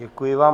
Děkuji vám.